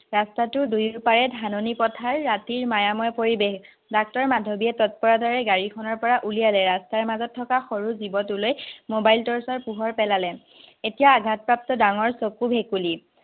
ৰাস্তাটোৰ দুয়ো পাৰে ধাননি পথাৰ, ৰাতিৰ মায়াময় পৰিবেশ। ডাক্তৰ মাধৱীয়ে তত্পৰতাৰে গাড়ীখনৰপৰা উলিয়ালে ৰাস্তাৰ মাজত থকা সৰু জীৱটোলৈ মোবাইল টৰ্চৰ পোহৰ পেলালে। এতিয়া আঘাতপ্ৰাপ্ত ডাঙৰ চকু ভেকুলী